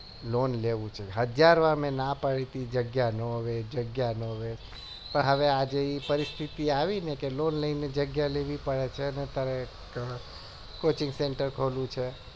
loan લેવું છે હજાર વાર મી ના પડ્યું તું જગ્યા ન વેચ જગ્યા ના વેચ પણ હવે આજે એ પરીસ્થિતિઆવી ને કે loan લઈને જગ્યા લેવી પડે છે ને તારે coaching centre ખોલવું છે